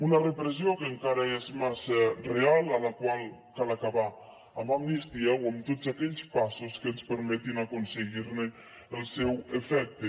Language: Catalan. una repressió que encara és massa real a la qual cal acabar amb l’amnistia o amb tots aquells passos que ens permetin aconseguir ne l’efecte